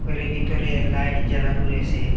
ঘরের ভিতরে লাইট জ্বালানো রয়েসে।